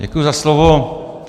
Děkuji za slovo.